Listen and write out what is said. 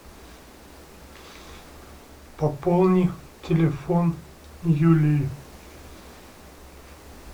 пополни телефон юлии